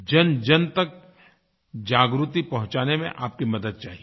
जनजन तक जागृति पहुँचाने में आपकी मदद चाहिए